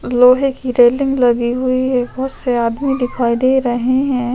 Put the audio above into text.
लोहे की रेलिंग लगी हुई है बहुत से आदमी दिखाई दे रहे है।